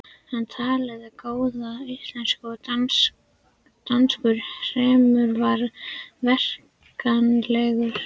Hann talaði góða íslensku en danskur hreimur var merkjanlegur.